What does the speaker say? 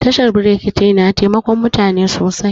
Tashar brekete na taimakon mutane sosai